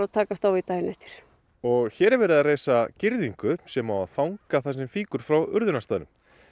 takast á við daginn eftir og hér er verið að reisa girðingu sem á að fanga það sem fýkur frá urðunarstaðnum